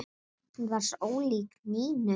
Hún var svo ólík Nínu.